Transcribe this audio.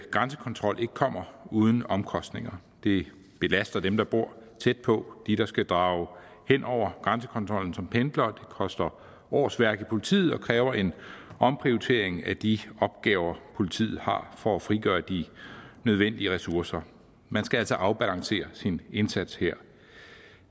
grænsekontrol ikke kommer uden omkostninger det belaster dem der bor tæt på de der skal drage hen over grænsekontrollen som pendlere koster årsværk i politiet og kræver en omprioritering af de opgaver politiet har for at frigøre de nødvendige ressourcer man skal altså afbalancere sin indsats her